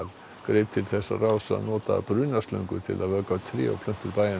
greip til þess ráðs að nota brunaslöngur til að vökva tré og plöntur bæjarins